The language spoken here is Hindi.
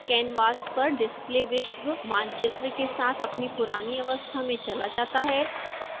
canvas पर डिस्प्ले विश्व मानचित्र के साथ अपनी पुरानी अवस्था में चला जाता है